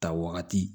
Ta wagati